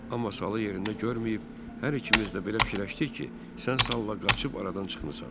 Amma salı yerində görməyib, hər ikimiz də belə fikirləşdik ki, sən salla qaçıb aradan çıxmısan.